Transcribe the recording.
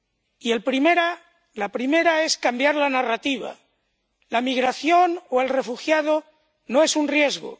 Y la primera es cambiar la narrativa la migración o el refugiado no es un riesgo.